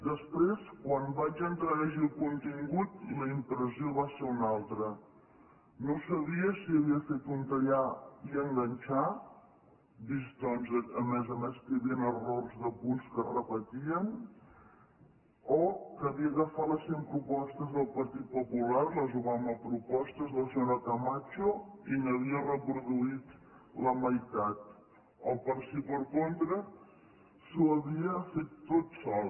després quan vaig entrar a llegir el contingut la impressió va ser una altra no sabia si havia fet un tallar i enganxar vist doncs a més a més que hi havia errors de punts que es repetien o que havia agafat les cent propostes del partit popular les obama propostes de la senyora camacho i n’havia reproduït la meitat o si per contra s’ho havia fet tot sol